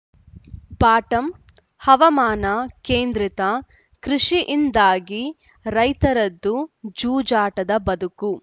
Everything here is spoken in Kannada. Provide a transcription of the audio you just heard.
ಬಾಟಂ ಹವಾಮಾನ ಕೇಂದ್ರಿತ ಕೃಷಿಯಿಂದಾಗಿ ರೈತರದ್ದು ಜೂಜಾಟದ ಬದುಕು